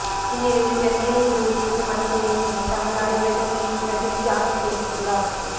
இந்நிலையில் சென்னையில் இன்று விட்டு விட்டு மழை பெய்யும் என தமிழ்நாடுவெதமேன் பிரதீப் ஜான் தெரிவித்துள்ளார்